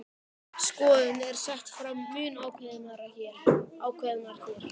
Þessi skoðun er sett fram mun ákveðnar hér.